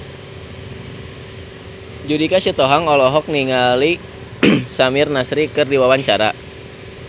Judika Sitohang olohok ningali Samir Nasri keur diwawancara